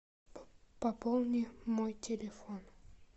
пополни мой телефон